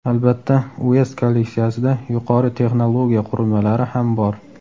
Albatta Uest kolleksiyasida yuqori texnologiya qurilmalari ham bor.